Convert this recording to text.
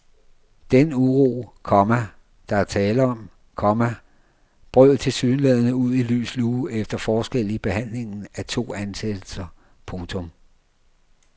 Den uro, komma der er tale om, komma brød tilsyneladende ud i lys lue efter forskel i behandlingen af to ansættelser. punktum